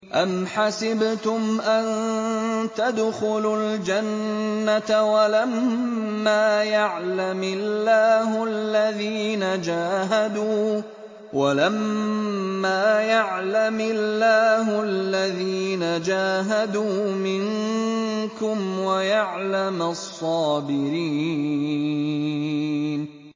أَمْ حَسِبْتُمْ أَن تَدْخُلُوا الْجَنَّةَ وَلَمَّا يَعْلَمِ اللَّهُ الَّذِينَ جَاهَدُوا مِنكُمْ وَيَعْلَمَ الصَّابِرِينَ